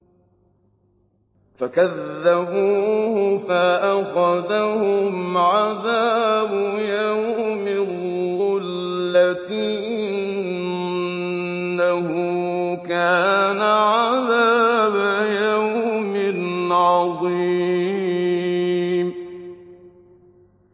فَكَذَّبُوهُ فَأَخَذَهُمْ عَذَابُ يَوْمِ الظُّلَّةِ ۚ إِنَّهُ كَانَ عَذَابَ يَوْمٍ عَظِيمٍ